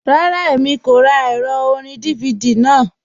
Rárá, Èmi kò rá ẹrọ̀ orín DVD náà.